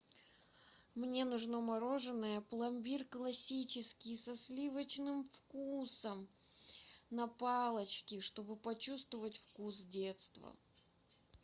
мне нужно мороженое пломбир классический со сливочным вкусом на палочке чтобы почувствовать вкус детства